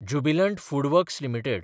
Jubilant FoodWorks limited